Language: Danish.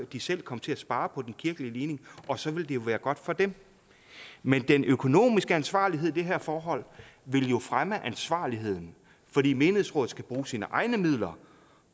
de selv kom til at spare på den kirkelige ligning og så ville det jo være godt for dem men den økonomiske ansvarlighed i det her forhold vil jo fremme ansvarligheden fordi menighedsrådet skal bruge sine egne midler